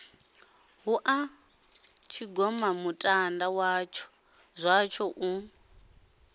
hu ha tshigomamutanda zwatsho u